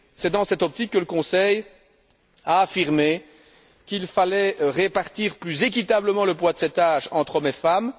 C'est dans cette optique que le Conseil a affirmé qu'il fallait répartir plus équitablement le poids de ces tâches entre hommes et femmes.